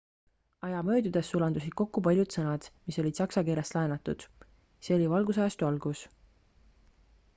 aja möödudes sulandusid kokku paljud sõnad mis olid saksa keelest laenatud see oli valgustusajastu algus